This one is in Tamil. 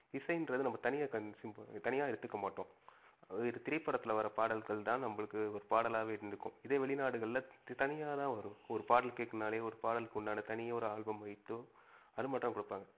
இசைன்னுறது நம்ப தனி தனியா எடுத்துக்க மாட்டோம். அது திரை படத்துல வர பாடல்கள்தான் நம்பளுக்கு பாடலாவே இருந்துகும். இதே வெளிநாடுகள்ல தனியாத்தான் வரும் ஒரு பாடல் கேக்கணும்னாலே ஒரு பாடலுக்கு உண்டான தனி ஒரு ஆல்பம் வைத்தோ அது மட்டும் தான் குடுப்பாங்க.